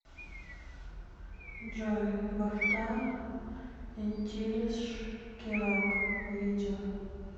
джой бахта интилиш керак видео